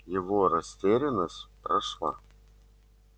его растерянность прошла